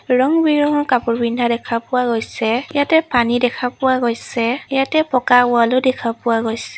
ৰং বিৰংঙৰ কাপোৰ পিন্ধা দেখা পোৱা গৈছে ইয়াতে পানী দেখা পোৱা গৈছে ইয়াতে পকা ৱালো দেখা পোৱা গৈছে।